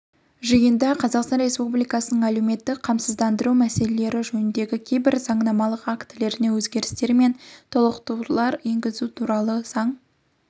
жиында қазақстан республикасының әлеуметтік қамсыздандыру мәселелері жөніндегі кейбір заңнамалық актілеріне өзгерістер мен толықтырулар енгізу туралы заң